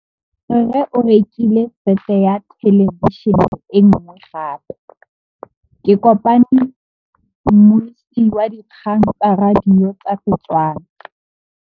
Rre o rekile sete ya thêlêbišênê e nngwe gape. Ke kopane mmuisi w dikgang tsa radio tsa Setswana.